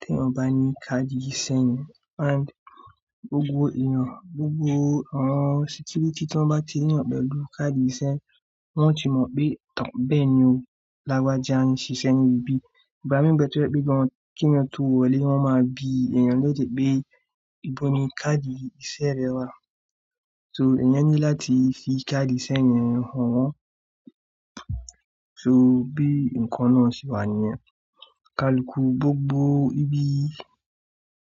tí èèyàn ò bá ní káàdì iṣẹ́ yẹn and gbogbo èèyàn, gbogbo àwọn security tí wọ́n bá ti rí ẹ̀yàn pẹ̀lú káàdì iṣẹ́, wọ́n ó ti mọ̀ pé tàn bẹ́ẹ̀ ni o lágbájá ń ṣiṣẹ́ ní ibi. Ìgbá mí ń bẹ tó jẹ pé gan, kí ẹ̀yàn tó wọlé wọ́n máa bi ẹèèyàn léèrè pé ìbó ni káàdì iṣẹ́ rẹ wà? So ẹ̀yàn ní láti fi káàdì iṣẹ́ yẹn hàn wọ́n. So bí ǹkan náà ṣe wà níyẹn. Kálùkù gbogbo ibi